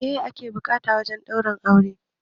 Meye ake buƙata wajen ɗaurin aure?